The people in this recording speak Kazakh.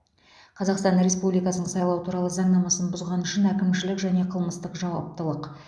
қазақстан республикасының сайлау туралы заңнамасын бұзғаны үшін әкімшілік және қылмыстық жауаптылық